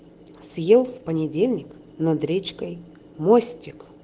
съел в понедельник над речкой мостик